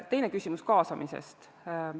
Teine küsimus oli kaasamise kohta.